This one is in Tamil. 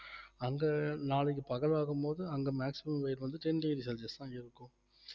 அங்க நாளைக்கு பகல் வரும் போது அங்க maximum வெயில் வந்து ten degree celsius தான் இருக்கும்